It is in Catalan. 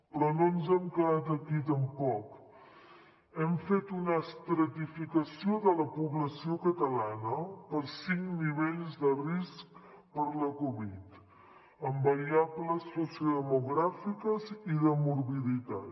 però no ens hem quedat aquí tampoc hem fet una estratificació de la població catalana per cinc nivells de risc per la covid amb variables sociodemogràfiques i de morbiditat